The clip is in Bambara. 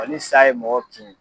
ni sa ye mɔgɔ kin